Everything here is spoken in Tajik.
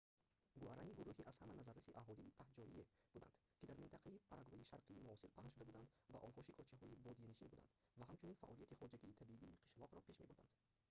гуарани гуруҳи аз ҳама назарраси аҳолии таҳҷоие буданд ки дар минтақаи парагвайи шарқии муосир паҳн шуда буданд ва онҳо шикорчиҳои бодиянишин буданд ва ҳамчунин фаъолияти хоҷагии табии қишлоқро пеш мебурданд